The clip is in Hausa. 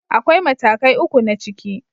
Akwai matakai uku na ciki.